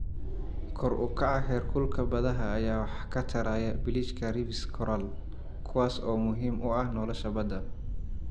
Kor u kaca heerkulka badaha ayaa wax ka taraya biliijka reefs coral, kuwaas oo muhiim u ah nolosha badda.